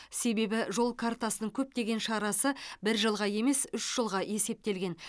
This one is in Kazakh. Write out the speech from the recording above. себебі жол картасының көптеген шарасы бір жылға емес үш жылға есептелген